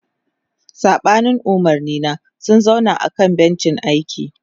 Saɓanin umarnina, sun zauna a kan bencin aiki.